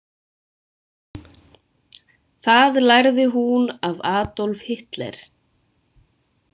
Það lærði hún af Adolf Hitler.